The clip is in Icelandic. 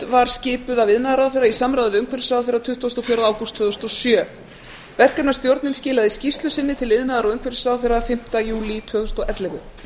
var skipuð af iðnaðarráðherra í samráði við umhverfisráðherra tuttugasta og fjórða ágúst tvö þúsund og sjö verkefnisstjórnar skilaði skýrslu sinni til iðnaðar og umhverfisráðherra fimmti júlí tvö þúsund og ellefu